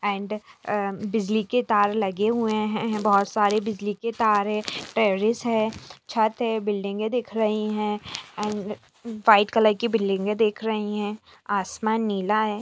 And बिजली के तार लगे हुए है बहुत सारे बिजली के तार है टेररीस है छत है बिल्डिंग ए - दिख रही है एण्ड व्हाइट कलर की बिल्डिंग ए - दिख रही है आसमान नीला है।